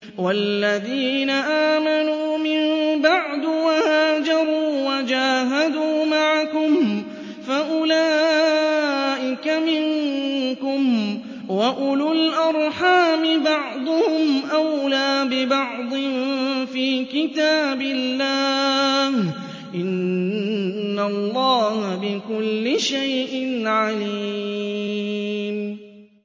وَالَّذِينَ آمَنُوا مِن بَعْدُ وَهَاجَرُوا وَجَاهَدُوا مَعَكُمْ فَأُولَٰئِكَ مِنكُمْ ۚ وَأُولُو الْأَرْحَامِ بَعْضُهُمْ أَوْلَىٰ بِبَعْضٍ فِي كِتَابِ اللَّهِ ۗ إِنَّ اللَّهَ بِكُلِّ شَيْءٍ عَلِيمٌ